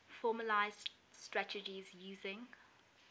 formalised strategies using